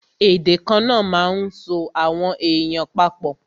Èdè kana máa ń so àwọn èèyàn pa pọ̀